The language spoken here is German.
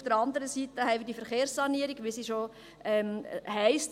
Auf der anderen Seite haben wir die Verkehrssanierung, wie sie bereits heisst.